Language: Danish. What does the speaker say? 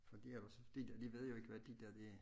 Fordi ellers de de ved jo ikke hvad de der det